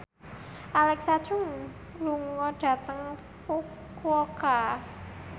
Alexa Chung lunga dhateng Fukuoka